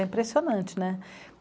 É impressionante, né?